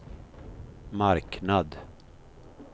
marknad